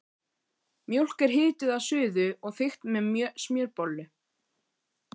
Mjólk er hituð að suðu og þykkt með smjörbollu.